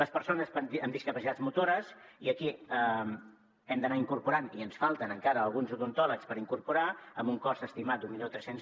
les persones amb discapacitats motores i aquí hem d’anar incorporant i ens falten encara alguns odontòlegs per incorporar amb un cost estimat d’mil tres cents